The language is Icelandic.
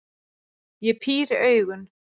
Ég píri augun.